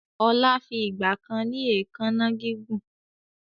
Ọlá fi ìgbàkan ni èékánná kíkún